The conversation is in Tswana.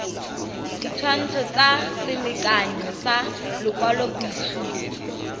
ditshwantsho tsa selekanyo sa lokwalobotshupo